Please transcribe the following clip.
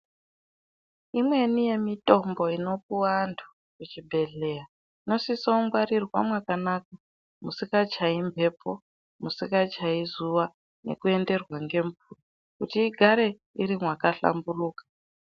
Imweni yemitombo inopuwa antu kuzvibhehleya inosiso kungwarirwa mwakanaka musingachayi, mbepo musingachayi zuwa ngekuenderwa ngemvura kuti igare makahlamburuka.